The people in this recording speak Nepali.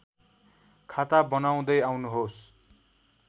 खाता बनाउँदै आउनुहोस्